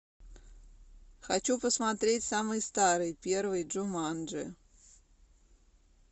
хочу посмотреть самый старый первый джуманджи